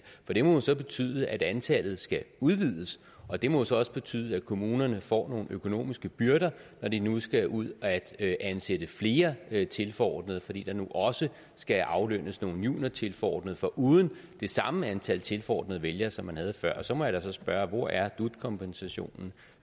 for det må jo så betyde at antallet skal udvides og det må så også betyde at kommunerne får nogle økonomiske byrder når de nu skal ud at ansætte flere tilforordnede fordi der nu også skal aflønnes nogle juniortilforordnede foruden det samme antal tilforordnede vælgere som man havde før så må jeg da spørge hvor er dut kompensationen